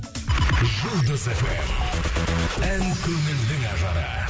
жұлдыз фм ән көңілдің ажары